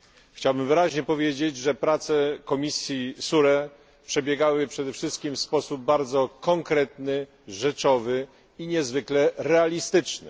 Chciałbym wyraźnie powiedzieć, że prace komisji SURE przebiegały przede wszystkim w sposób bardzo konkretny, rzeczowy i niezwykle realistyczny.